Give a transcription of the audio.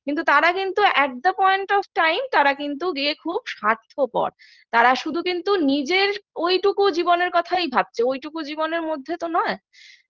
কিন্তু তারা কিন্তু at the point of time তারা কিন্তু দিয়ে খুব স্বার্থপর তারা শুধু কিন্তু নিজের ঐটুকু জীবনের কথাই ভাবছে ঐটুকু জীবনের মধ্যে তো নয়